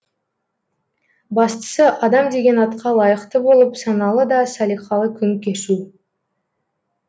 бастысы адам деген атқа лайықты болып саналы да салиқалы күн кешу